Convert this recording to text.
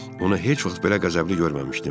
Onu heç vaxt belə qəzəbli görməmişdim.